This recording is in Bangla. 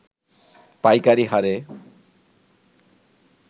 পাইকারি হারে